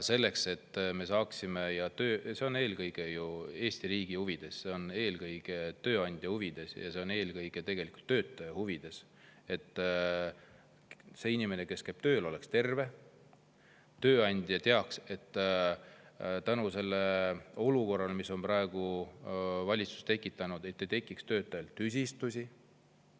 See on eelkõige Eesti riigi huvides, see on eelkõige tööandja huvides ja see on eelkõige ka töötaja huvides, et inimene, kes käib tööl, oleks terve ja tööandja teaks, et tänu sellele olukorrale, mille valitsus on tekitanud, ei teki töötajal tüsistusi.